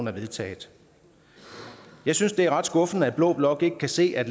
er vedtaget jeg synes det er ret skuffende at blå blok ikke kan se at